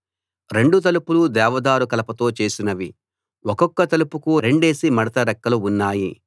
రెండు తలుపులు దేవదారు కలపతో చేసినవి ఒక్కొక్క తలుపుకు రెండేసి మడత రెక్కలు ఉన్నాయి